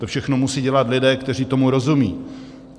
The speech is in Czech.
To všechno musí dělat lidé, kteří tomu rozumí.